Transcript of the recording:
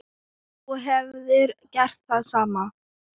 Þú hefðir gert það sama.